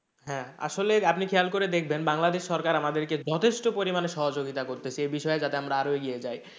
হ্যাঁ আসলে আপনি খেয়াল করে দেখবেন বাংলাদেশ সরকার আমাদেরকে যথেষ্ট পরিমানে সহযোগিতা করতেছে এ বিষয়ে যাতে আমার আরো এগিয়ে যাই।